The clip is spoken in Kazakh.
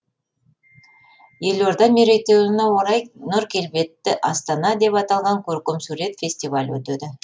елорда мерейтойына орай нұр келбетті астана деп аталған көркемсурет фестивалі өтеді